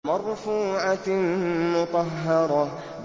مَّرْفُوعَةٍ مُّطَهَّرَةٍ